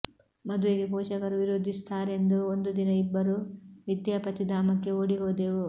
ಮದುವೆಗೆ ಪೋಷಕರು ವಿರೋಧಿಸುತ್ತಾರೆಂದು ಒಂದು ದಿನ ಇಬ್ಬರು ವಿದ್ಯಾಪತಿಧಾಮಕ್ಕೆ ಓಡಿ ಹೋದೆವು